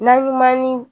Na ɲuman ni